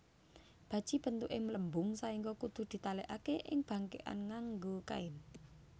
Baji bentuke mlembung saengga kudu ditalekake ing bangkekan nganggo kain